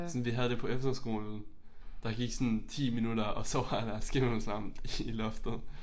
Sådan vi havde det på efterskolen. Der gik sådan 10 minutter og så var der skimmelsvamp i loftet